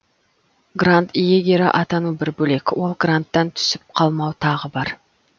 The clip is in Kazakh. грант иегері атану бір бөлек ол гранттан түсіп қалмау тағы бар